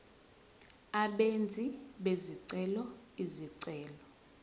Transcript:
abenzi bezicelo izicelo